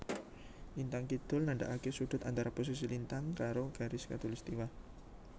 Lintang kidul nandaake sudut antara posisi lintang karo garis Katulistwa